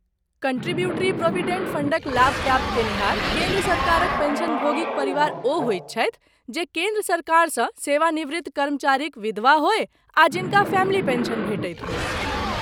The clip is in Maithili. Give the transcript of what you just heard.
कंट्रीब्यूटरी प्रोविडेंट फंडक लाभ प्राप्त कयनिहार केन्द्र सरकारक पेंशनभोगीक परिवार ओ होइत छथि जे केन्द्र सरकारसँ सेवानिवृत्त कर्मचारीक विधवा होय आ जिनका फैमिली पेंशन भेटैत होय।